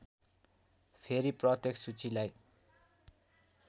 फेरि प्रत्येक सूचीलाई